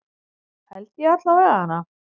Held ég allavega.